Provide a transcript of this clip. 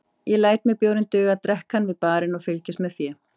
Ég læt mér bjórinn duga, drekk hann við barinn og fylgist með fé